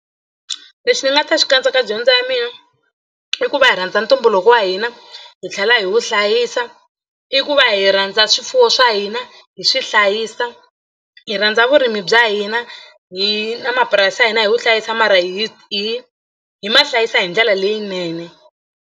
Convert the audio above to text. Lexi ni nga ta xi katsa ka dyondzo ya mina i ku va hi rhandza ntumbuluko wa hina hi tlhela hi wu hlayisa i ku va hi rhandza swifuwo swa hina hi swi hlayisa hi rhandza vurimi bya hina hi na mapurasi ya hina hi wu hlayisa mara hi hi hi ma hlayisa hi ndlela leyinene.